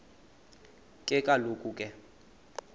ke kaloku ke